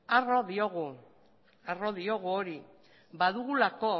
arro diogu hori badugulako